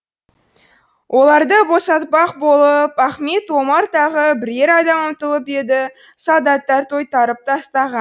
оларды босатпақ болып ахмет омар тағы бірер адам ұмтылып еді солдаттар тойтарып тастаған